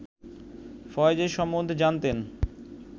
ফয়েজের সম্বন্ধে জানতেন